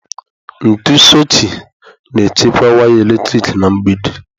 Ntu sochie na-echekwa waya eletrik na mgbidi.